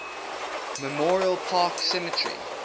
memorial park cemetery